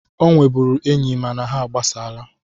Ọ nwebụrụ enyi mana ha agbasaala